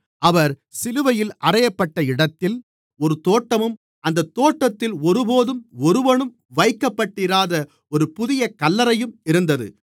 அவர் சிலுவையில் அறையப்பட்ட இடத்தில் ஒரு தோட்டமும் அந்தத் தோட்டத்தில் ஒருபோதும் ஒருவனும் வைக்கப்பட்டிராத ஒரு புதிய கல்லறையும் இருந்தது